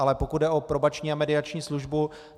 Ale pokud jde o probační a mediační službu.